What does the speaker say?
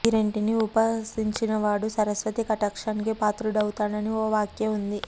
ఈ రెంటినీ ఉపాసించినవాడు సరస్వతీ కటాక్షానికి పాత్రుడవుతాడనీ ఓ వ్యాఖ్య వుంది